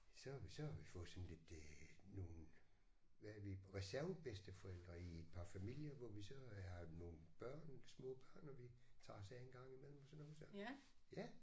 Så har vi så har vi fået sådan lidt øh nogle hvad er vi reservebedsteforældre i et par familier hvor vi så har nogle børn små børn og vi tager os af en gang imellem og sådan noget så ja